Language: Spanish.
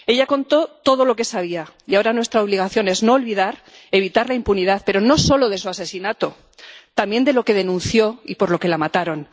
Ella contó todo lo que sabía, y ahora nuestra obligación es no olvidar, evitar la impunidad, pero no solo de su asesinato, también de lo que denunció y por lo que la mataron.